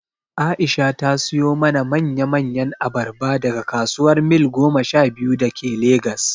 Aisha ta siyo mana manya manyan abarba daga kasuwar Mil goma sha biyu da ke Legas